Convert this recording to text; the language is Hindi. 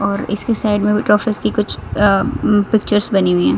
और इसकी साइड में भी ट्रॉफिस की कुछ अह उम्म पिक्चर्स बनी हुई है।